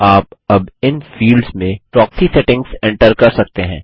आप अब इन फिल्डस में प्रोक्सी सेटिंग्स एंटर कर सकते हैं